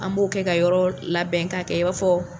An b'o kɛ ka yɔrɔ labɛn k'a kɛ i b'a fɔ